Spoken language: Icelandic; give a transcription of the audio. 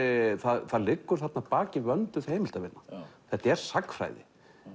það liggur þarna að baki vönduð heimildavinna þetta er sagnfræði